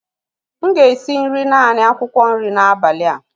M ga-esi nri naanị akwụkwọ nri n'abalị a